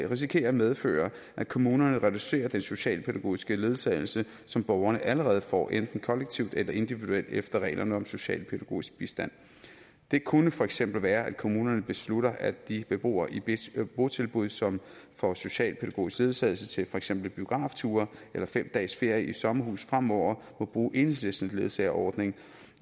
risikerer at medføre at kommunerne reducerer den socialpædagogiske ledsagelse som borgerne allerede får enten kollektivt eller individuelt efter reglerne om socialpædagogisk bistand det kunne for eksempel være at kommunerne beslutter at de beboere i et botilbud som får socialpædagogisk ledsagelse til for eksempel biografture eller fem dages ferie i sommerhus fremover må bruge enhedslistens ledsageordning